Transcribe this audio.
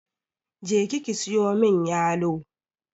Je ki ki siyo mun yalo!